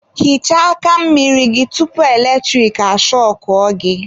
Hichaa aka mmiri gị tupu eletrik ashọkụọ gị.